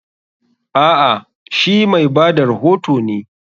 A'a, she mai ba da rohoto ne.